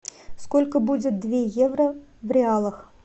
сколько будет две евро в реалах